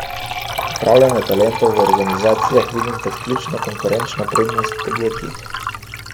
Upravljanje talentov v organizacijah vidim kot ključno konkurenčno prednost podjetjih.